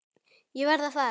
Ég verð að fara.